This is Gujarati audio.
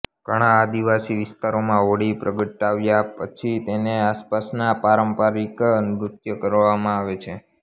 ઘણાં આદિવાસી વિસ્તારોમાં હોળી પ્રગટાવ્યા પછી તેની આસપાસ પારંપારીક નૃત્ય કરવામાં આવે છે